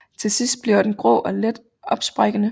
Til sidst bliver den grå og let opsprækkende